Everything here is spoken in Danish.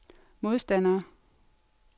modstandere